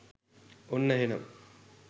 ඔන්න එහෙනම්